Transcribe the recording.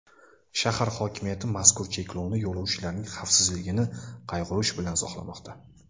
Shahar hokimiyati mazkur cheklovni yo‘lovchilarning xavfsizligini qayg‘urish bilan izohlamoqda.